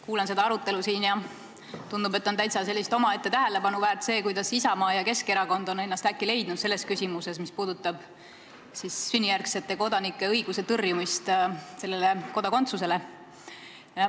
Kuulan seda arutelu siin ja tundub, et on täitsa omaette tähelepanu väärt, kuidas Isamaa ja Keskerakond on ennast äkki leidnud ettevõtmises, mis seisneb selles, et tõrjutakse sünnijärgsete kodanike õigust Eesti kodakondsusele.